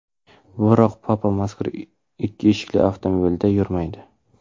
Biroq papa mazkur ikki eshikli avtomobilda yurmaydi.